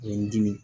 Ye n dimi